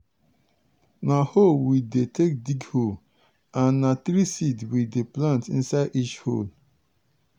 na hoe we dey take dig hole and na three seed we dey plant inside each hole.